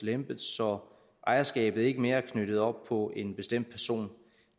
lempet så ejerskabet ikke mere er knyttet op på en bestemt person